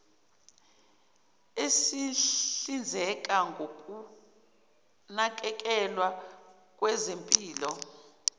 esihlinzeka ngokunakekelwa kwezempilo